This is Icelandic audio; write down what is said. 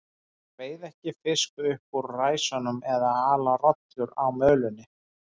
Þeir veiða ekki fisk upp úr ræsunum eða ala rollur á mölinni.